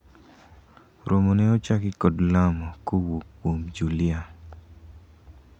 romo ne ochaki kod lamo kowuok kuom Julia